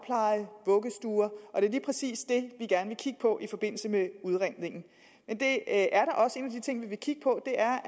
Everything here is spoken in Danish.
vuggestuer og det er lige præcis det vi gerne vil kigge på i forbindelse med udredningen en af de ting vi vil kigge på er